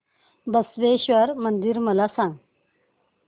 बसवेश्वर मंदिर मला सांग